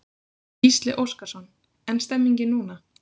Gísli Óskarsson: En stemningin núna?